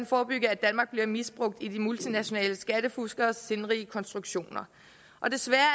forebygge at danmark bliver misbrugt i de multinationale skattefuskeres sindrige konstruktioner desværre